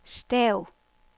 stav